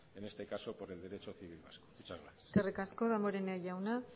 en este caso por el derecho civil vasco muchas gracias eskerrik asko damborenea jauna